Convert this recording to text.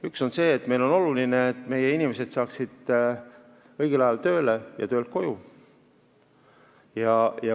Üks on see, et meile on oluline, et meie inimesed saaksid õigel ajal tööle ja töölt koju.